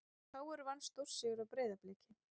KR vann stórsigur á Breiðabliki